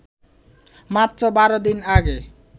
মাত্র ১২ দিন আগে